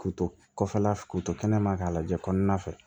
K'u to kɔfɛla fɛ k'u to kɛnɛma k'a lajɛ kɔnɔna fɛ